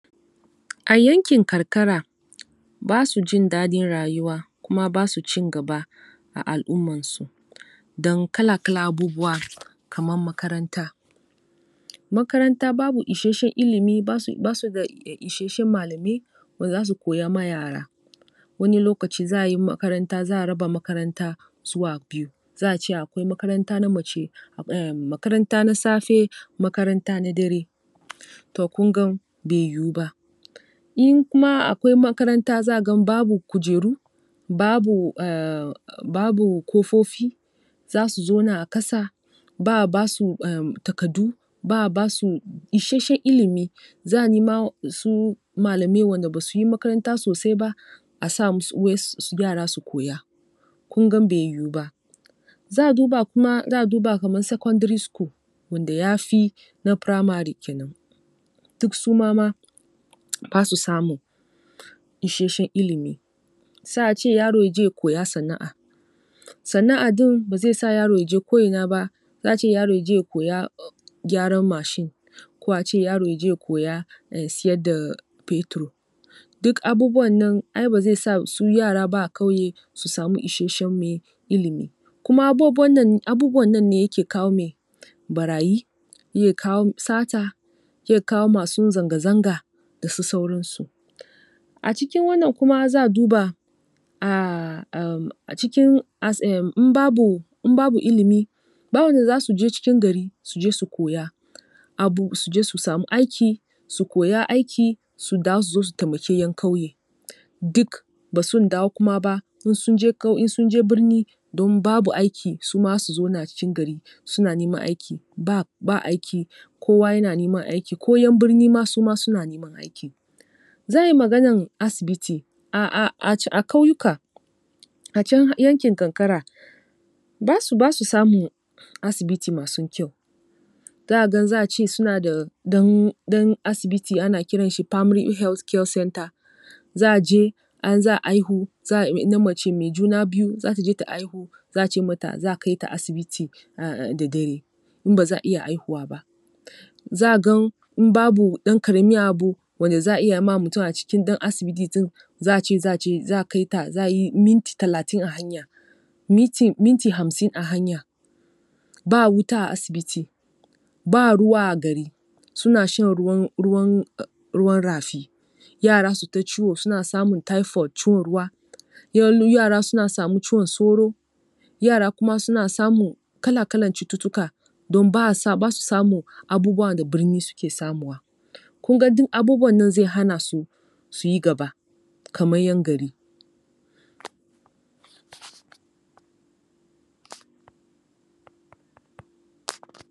A yankin karkara ba su jin dadin rayuwa kuma ba su cin gaba a al'ummansu. Dan kala-kalan abubuwa kaman makaranta. Makaranta babu isasshen ilimi, ba su um da isasshen malamai wanda za su koya ma yara. Wani lokaci za a yi makaranta za a raba makaranta zuwa biyu. Za a ce akwai makaranta na mace um makaranta na safe, makaranta na dare. To kun gan bai yiwu ba. In kuma akwai makaranta za ka gan babu kujeru; babu um babu kofofi za su zauna a kasa; ba a ba su takardu; ba a ba su isasshen ilimi. Za a nima su malamai wanda ba su yi makaranta sosai ba a sa musu wai yara su koya. Kun gan bai yiwu ba. Za a duba kuma za a duba kaman sekondiri sukul wanda ya fi na firamare ke nan, duk su ma ma ba su samun isasshen ilimi. Sai a ce yaro ya je ya koya sana'a. Sana'a din ba zai sa yaro ya je ko'ina ba za a ce yaro ya je ya koya gyaran mashin. Ko a ce yaro ya je ya koya um siyar da fetur. Duk abubuwan nan ai ba zai sa su yara ba a kauye su samu isasshen, meye, ilimi. Kuma abubuwan nan, abubuwan nan ne yake kawo, meye, barayi; yake kawo sata; yake kawo masun zanga-zanga da su sauransu. A cikin wanna kuma za a duba um a cikin asin in babu ilimi babu wanda za su je cikin gari su je su koya. Abu su je su samu aiki so koya aiki su dawo su su taimaki ƴan kauye Duk ba sun dawo kuma ba in sun je kau, in sun je birni don babu aiki, su ma za su zauna a cikin gari suna neman aiki. Ba ba aiki Kowa yana neman aiki. Ko ƴan birni ma su ma suna neman aiki. Zan yi maganan asibiti, um a kauyuka a can yankin kankara ba su samun asibiti masu kyau Za ka gan za a ce suna da ɗan asibiti ana kiran shi Primary Healtgh Care Centre. Za a je in za a aihu na mace mai juna za ta je ta aihu za a ce mata za a kai ta asibiti da dare in ba za a iya aihuwa ba. Za gan in babu dan karamin abu wanda za a iya ma mutum a cikin dan asibitin za a ce za a kai ta za a yi minti talatin a hanya. Minti hamsin a hanya. Ba wuta a asibiti; ba ruwa a gari; suna shan ruwan um ruwan rafi. Yara su ta ciwo suna samun taifot, cin ruwa. Yara suna samu ciwon sauro, yara kuma samun kala-kalan cututtuka don ba a, ba su samun abubuwa da birni suke samuwa. Kun ga duk abubuwan nan zai hana su su yi gaba kaman ƴan gari.